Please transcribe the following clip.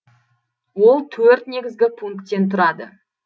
ол төрт негізгі пункттен тұрады